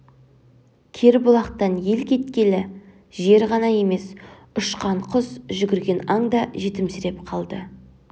бұл кербұлақтан ел кеткелі жер ғана емес ұшқан құс жүгірген аң да жетімсіреп қалды